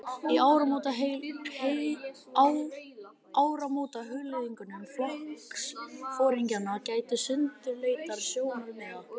Í áramótahugleiðingum flokksforingjanna gætti sundurleitra sjónarmiða.